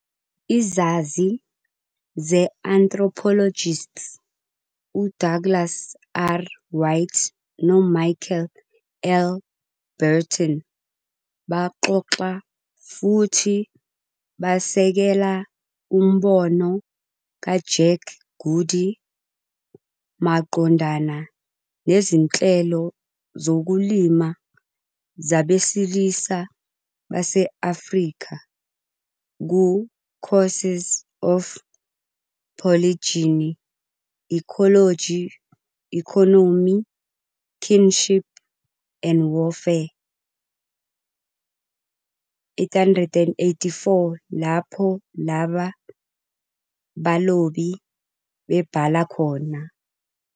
Izazi ze-anthropologists uDouglas R. White noMichael L. Burton baxoxa futhi basekela umbono kaJack Goody maqondana nezinhlelo zokulima zabesilisa base-Afrika ku- "Causes of Polygyny- Ecology, Economy, Kinship, and Warfare" - 884 lapho laba balobi bebhala khona.